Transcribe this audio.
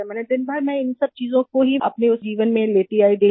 मैंने दिन भर में इन सब चीज़ों को ही अपने जीवन में लेती आई डेली